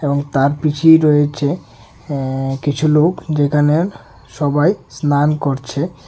এবং তার পিছেই রয়েছে এ্যা কিছু লোক যেখানে সবাই স্নান করছে।